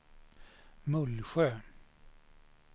Mullsjö